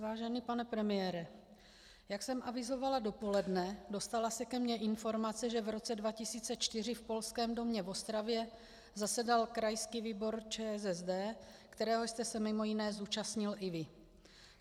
Vážený pane premiére, jak jsem avizovala dopoledne, dostala se ke mně informace, že v roce 2004 v Polském domě v Ostravě zasedal krajský výbor ČSSD, kterého jste se mimo jiné zúčastnil i vy.